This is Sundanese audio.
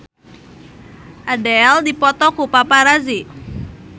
Adele dipoto ku paparazi